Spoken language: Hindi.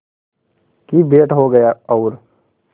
की भेंट हो गया और